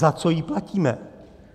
Za co ji platíme?